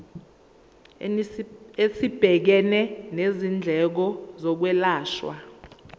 esibhekene nezindleko zokwelashwa